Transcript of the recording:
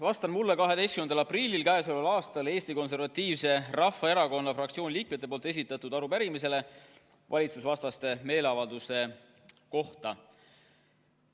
Vastan mulle 12. aprillil Eesti Konservatiivse Rahvaerakonna fraktsiooni liikmete esitatud arupärimisele valitsusvastaste meeleavalduste kohta.